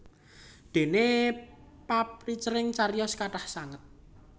Déné paprincening cariyos kathah sanget